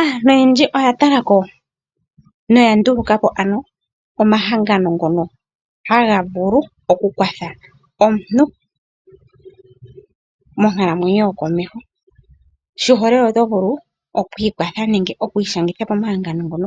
Aantu oyendji oya tala ko noya nduluka po ano omahangano ngono haga vulu okukwatha omuntu monkalamwenyo yokomeho ,oshiholelwa oto vulu oku ikwatha nenge oku ishangitha komahangano ngono